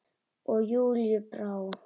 Og Júlíu brá.